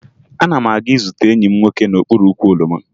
Ana m aga izute enyi m nwoke n'okpuru ukwu oroma